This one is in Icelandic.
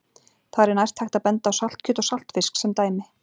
Þar er nærtækt að benda á saltkjöt og saltfisk sem dæmi.